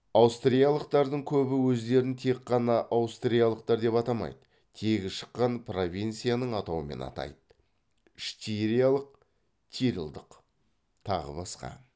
аутриялықтардың көбі өздерін тек қана аустриялықтар деп атамай тегі шыққан провинцияның атауымен атайды штириялық тирльдық тағы басқа